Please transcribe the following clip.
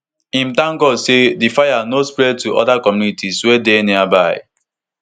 im tank god say di fire no spread to oda communities wey dey nearby